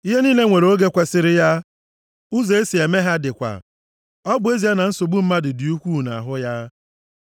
Ihe niile nwere oge kwesiri ya, ụzọ e si eme ha dịkwa, ọ bụ ezie na nsogbu mmadụ dị ukwuu nʼahụ ya.